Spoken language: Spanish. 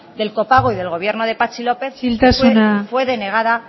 del copago y del gobierno de patxi lópez fue denegada